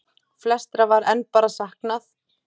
Flestra var enn bara saknað.